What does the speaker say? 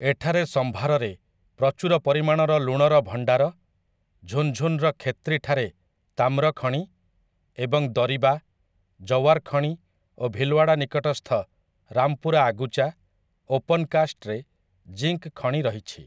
ଏଠାରେ ସମ୍ଭାରରେ ପ୍ରଚୁର ପରିମାଣର ଲୁଣର ଭଣ୍ଡାର, ଝୁନଝୁନୁର ଖେତ୍ରି ଠାରେ ତାମ୍ର ଖଣି ଏବଂ ଦରିବା, ଜୱାର୍‌ ଖଣି ଓ ଭିଲୱାଡ଼ା ନିକଟସ୍ଥ ରାମପୁରା ଆଗୁଚା, ଓପନକାଷ୍ଟରେ ଜିଙ୍କ୍‌ ଖଣି ରହିଛି ।